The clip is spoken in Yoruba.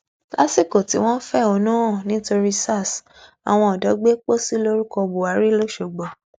lásìkò tí wọn ń fẹhónú hàn nítorí sars àwọn ọdọ gbé pósí lórúkọ buhari lọsọgbó